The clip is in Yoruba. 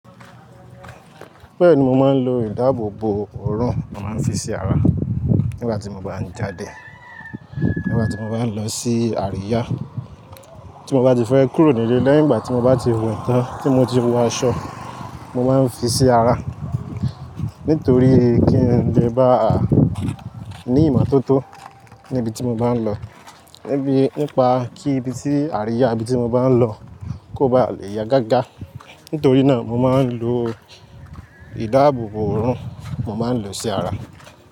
Bẹ́ẹ̀ni mo máa ń lo ìdáàbòbò òórùn mo máa ń fi sí ara nígbà tí mo bá ń jáde. Nígbà tí mo bá ń lọ sí àríyá tí mo bá ti fẹ́ kúrò nílé, lẹ́yìn ìgbà tí mo bá ti we ìtàn, tí mo ti wo aṣọ, mo máa ń fi sí ara. Nítorí kí n lè bá ní ìmọ̀ tó tó níbi tí mo bá ń lọ. Níbi, nípa kí ibi tí àríyá ibi tí mo bá ń lọ kó ba lè yá gágá. Nítorí náà mo máa ń lo ìdáàbòbò òórùn mo máa ń lò sí ara.